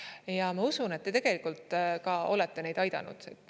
Ja ma usun, et te tegelikult olete neid aidanud.